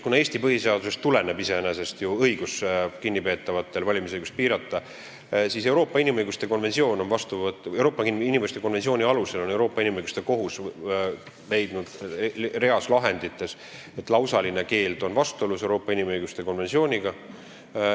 Kuna Eesti põhiseadusest tuleneb iseenesest õigus kinnipeetavate valimisõigust piirata, siis Euroopa Inimõiguste Kohus on leidnud mõningates lahendites, et lausaline keeld on vastuolus Euroopa inimõiguste konventsiooniga.